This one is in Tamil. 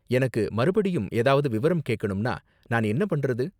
எனக்கு மறுபடியும் ஏதாவது விவரம் கேக்கணும்னா நான் என்ன பண்றது?